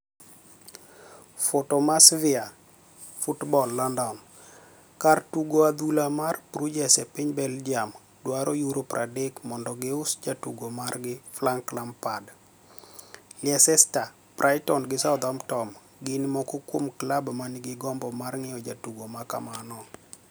(Fotomacvia Football. Lonidoni) kar tugo adhula mar Bruges e piniy Belgium dwaro uro 30 monido gius jatugo margi Franick Lampad, Leicester, Brightoni gi Southamptoni gini moko kuom club maniigi gombo mar nig'iewo jatugo ma kamano.